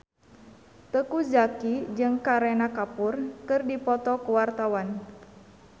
Teuku Zacky jeung Kareena Kapoor keur dipoto ku wartawan